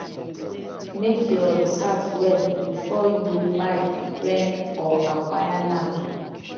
make your research well before you buy rent or aquire land